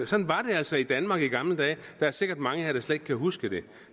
sådan var det altså i danmark i gamle dage der er sikkert mange her der slet ikke kan huske det